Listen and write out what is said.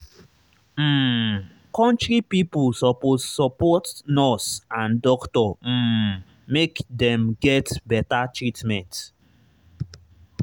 um country pipo suppose support nurse and doctor um make dem get better treatment.